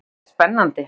Þetta er spennandi!